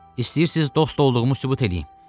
İstəyirsiz dost olduğumu sübut eləyim.